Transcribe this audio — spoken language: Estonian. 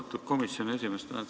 Austatud komisjoni esimees!